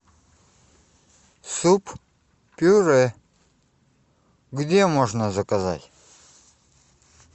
суп пюре где можно заказать